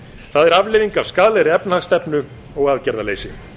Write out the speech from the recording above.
það er afleiðing af skaðlegri efnahagsstefnu og aðgerðaleysi